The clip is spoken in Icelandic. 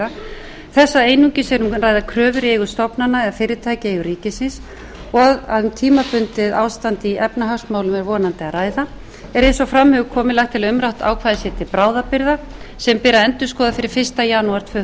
ræða þessa einungis er um að ræða kröfur í eigu stofnana eða fyrirtækja í eigu rikisins og um tímabundið ástand í efnahagsmálum er vonandi að ræða er eins og fram hefur komið lagt til að umrætt ákvæði sé til bráðabirgða sem ber að endurskoða fyrir fyrsta janúar tvö